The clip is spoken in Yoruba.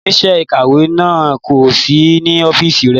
Oníṣẹ́ ìkàwé náà kò sí ní ọ́fíìsì rẹ̀.